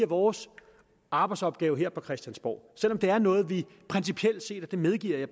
vores arbejdsopgave her på christiansborg selv om det er noget vi principielt set og det medgiver